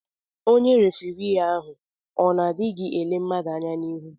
Onye refirii ahụ o n'odighị ele mmadụ anya n'ihu?